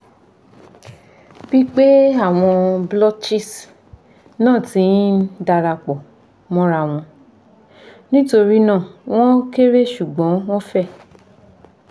bipe awon blotches na ti n darapo morawon nitorina won kere sugbon won fe